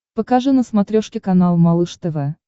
покажи на смотрешке канал малыш тв